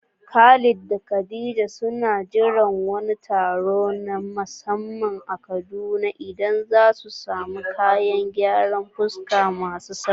Khalid da khadija suna jiran wani taro na musamman a Kaduna inda zasu samu kayan gyaran fuska masu salo